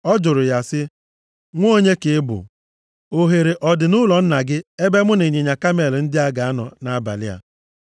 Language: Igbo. Ọ jụrụ ya sị, “Nwa onye ka ị bụ? Ohere ọ dị nʼụlọ nna gị ebe mụ na ịnyịnya kamel ndị a ga-anọ nʼabalị a?”